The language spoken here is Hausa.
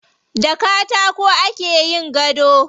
Da katako ake yin gado.